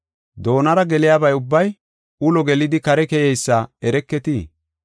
Doonara geliyaba ubbay ulo gelidi kare keyeysa ereketii?